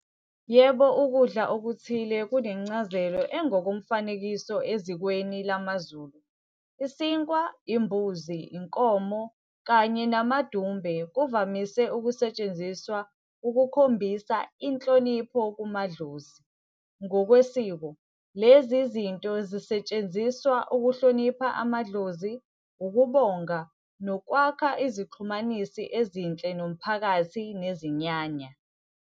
Yebo, ukudla okuthile kunencazelo engokomfanekiso ezikweni lamaZulu. Isinkwa, imbuzi, inkomo kanye namadumbe kuvamise ukusetshenziswa ukukhombisa inhlonipho kumadlozi. Ngokwesiko lezi zinto zisetshenziswa ukuhlonipha amadlozi, ukubonga nokwakha izixhumanisi ezinhle nomphakathi nezinyanya.